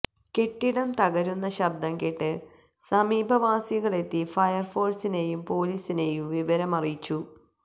കെട്ടിടം തകരുന്ന ശബ്ദം കേട്ട് സമീപവാസികളെത്തി ഫയര്ഫോഴ്സിനെയും പോലീസിനെയും വിവരമറിയിച്ചു